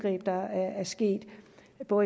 gå